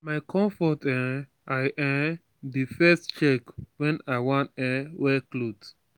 na my confort um i um dey first check when i wan um wear cloth.